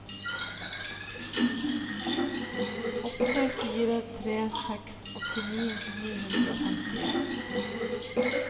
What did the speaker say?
åtte fire tre seks åttini ni hundre og femtien